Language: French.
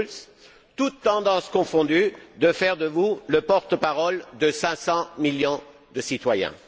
Schulz, toutes tendances confondues, de faire de vous le porte parole de 500 millions de citoyens.